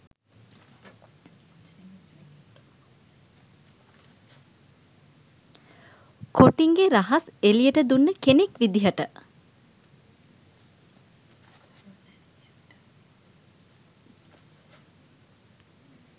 කොටින්ගෙ රහස් එළියට දුන්න කෙනෙක් විධියට